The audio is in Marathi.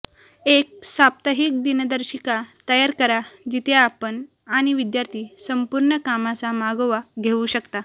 एक साप्ताहिक दिनदर्शिका तयार करा जिथे आपण आणि विद्यार्थी संपूर्ण कामाचा मागोवा घेऊ शकता